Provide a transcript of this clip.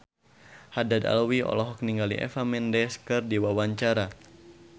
Haddad Alwi olohok ningali Eva Mendes keur diwawancara